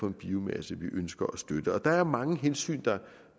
en biomasse vi ønsker at støtte der er mange hensyn